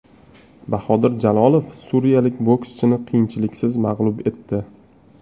Bahodir Jalolov suriyalik bokschini qiyinchiliksiz mag‘lub etdi.